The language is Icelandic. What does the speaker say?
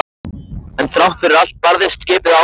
En þrátt fyrir allt barðist skipið áfram.